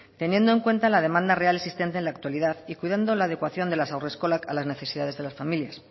teniendo en cuenta la demanda real existente en la actualidad y cuidando la adecuación de las haurreskolak a las necesidades de las familias